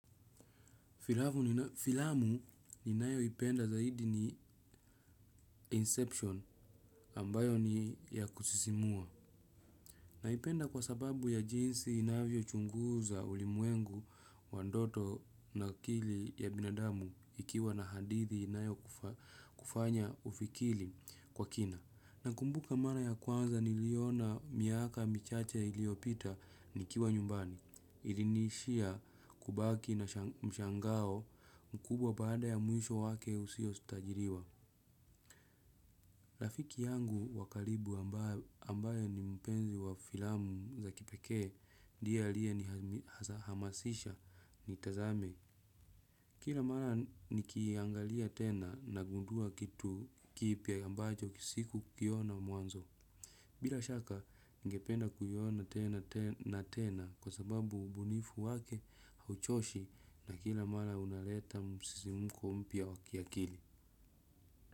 Filamu ninayoipenda zaidi ni inception ambayo ni ya kusisimua. Naipenda kwa sababu ya jinsi inavyo chunguza ulimwengu wa ndoto na akili ya binadamu ikiwa na hadithi inayo kufanya ufikiri kwa kina. Nakumbuka mara ya kwanza niliona miaka michache iliyopita nikiwa nyumbani, ilinishia kubaki na mshangao mkubwa baada ya mwisho wake usio tajiriwa. Rafiki yangu wa karibu ambaye ni mpenzi wa filamu za kipekee, ndiye aliye nihamasisha nitazame. Kila mara nikiiangalia tena nagundua kitu kipya ambacho sikukiona mwanzo. Bila shaka, ningependa kuyaona tena na tena kwa sababu ubunifu wake hauchoshi na kila mara unaleta msisimko mpya wa kiakili.